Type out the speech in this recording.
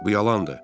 Bu yalandır.